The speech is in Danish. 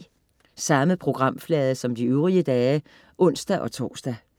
Samme programflade som de øvrige dage (ons-tors)